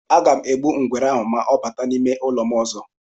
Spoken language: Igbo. Aga m egbu ngwere ahụ ma ọ bata n'ime ụlọ m ọzọ.